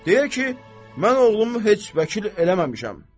Deyir ki, mən oğlumu heç vəkil eləməmişəm.